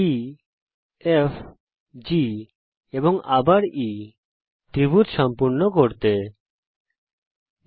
ই F G এবং ত্রিভুজকে সম্পূর্ণ করার জন্যে আবার E টিপুন